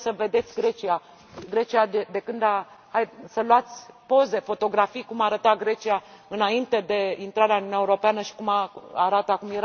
Haideți să vedeți Grecia, să luați poze, fotografii, cum arăta Grecia înainte de intrarea în Uniunea Europeană și cum arată acum.